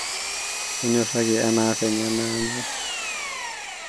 tonyoraki enaavenye nanyor